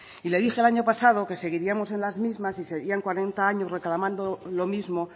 y le dije el año pasado que seguiríamos en las mismas si seguían cuarenta años reclamando lo mismo